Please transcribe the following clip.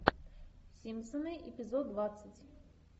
симпсоны эпизод двадцать